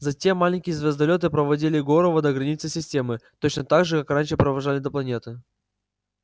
затем маленькие звездолёты проводили горова до границы системы точно так же как раньше провожали до планеты